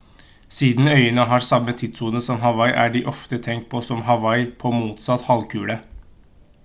siden øyene har samme tidssone som hawaii er de ofte tenkt på som «hawaii på motsatt halvkule»